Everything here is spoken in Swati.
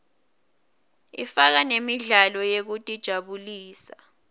ifaka nemidlalo yekutijabulisa